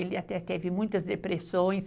Ele até teve muitas depressões.